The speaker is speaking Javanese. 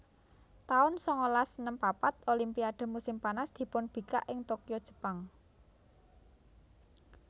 taun sangalas enem papat Olimpiade musim panas dipunbikak ing Tokyo Jepang